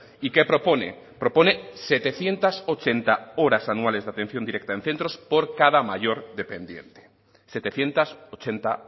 y qué propone propone setecientos ochenta horas anuales de atención directa en centros por cada mayor dependiente setecientos ochenta